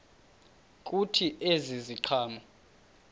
kuthi ezi ziqhamo